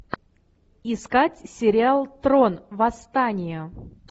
искать сериал трон восстание